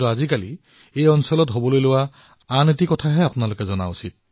কিন্তু এই দিনকেইটাত ইয়াত অন্য এটা কামহে হৈছে যি অতিশয় উৎসাহজনক আৰু ইয়াৰ বিষয়ে নিশ্চয়কৈ জানিব লাগে